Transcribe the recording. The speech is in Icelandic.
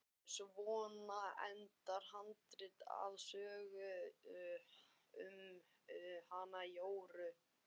Svona endar handritið að sögunni um hana Jóru.